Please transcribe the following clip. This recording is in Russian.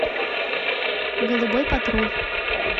голубой патруль